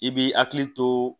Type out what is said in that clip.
I b'i hakili to